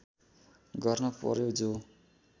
गर्न पर्‍यो जो